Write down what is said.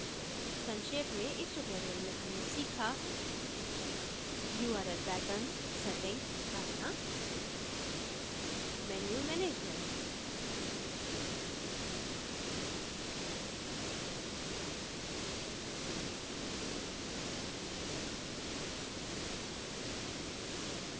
संक्षेप में इस tutorial में हमने सीखाurl patterns सेटिंग करना menu management